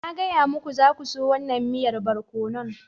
Na gaya muku, za ku so wannan miyan barkono.